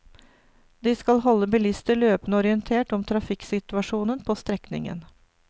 De skal å holde bilister løpende orientert om trafikksituasjonen på strekningen.